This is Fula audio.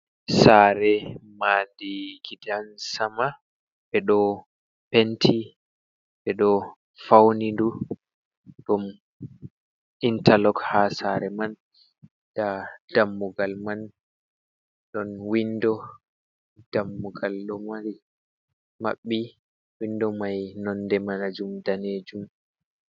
Sa're ma'di gidansama ɓe ɗo penti ɓe ɗo fauni du ɗon intalog ha sa're man, da dammugal man ɗon windo, dammugal ɗo maɓɓi windo mai nonde ma 'jum danejum.